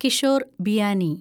Kishore Biyani